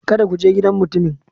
Kada ku je gidan mutumin!